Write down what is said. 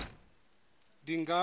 dingane